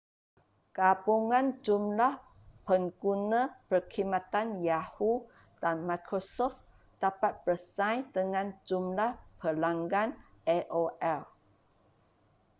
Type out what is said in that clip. gabungan jumlah pengguna perkhidmatan yahoo dan microsoft dapat bersaing dengan jumlah pelanggan aol